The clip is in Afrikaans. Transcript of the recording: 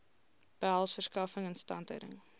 behels verskaffing instandhouding